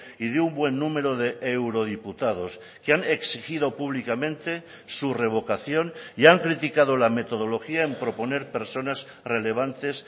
y de un buen número de eurodiputados que han exigido públicamente su revocación y han criticado la metodología en proponer personas relevantes